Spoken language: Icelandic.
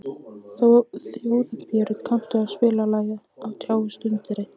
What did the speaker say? Þjóðbjörn, kanntu að spila lagið „Á tjá og tundri“?